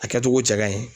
A kɛcogo cɛ ka ɲi